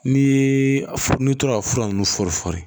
Ni n'i tora ka fura ninnu fɔri fɔri